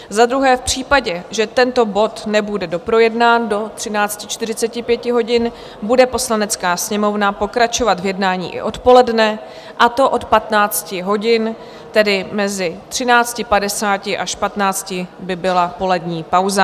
za druhé v případě, že tento bod nebude doprojednán do 13.45 hodin, bude Poslanecká sněmovna pokračovat v jednání i odpoledne, a to od 15 hodin, tedy mezi 13.50 až 15.00 by byla polední pauza.